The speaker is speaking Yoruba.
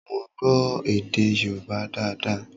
Mo gbọ́ èdè Yoruba daada